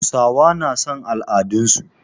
Hausawa na son al'adun su